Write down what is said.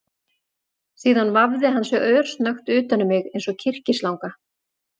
Síðan vafði hann sig örsnöggt utan um mig eins og kyrkislanga